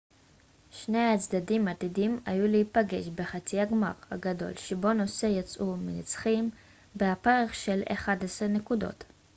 שני הצדדים עתידים היו להיפגש בחצי הגמר הגדול שבו נוסה יצאו מנצחים בהפרש של 11 נקודות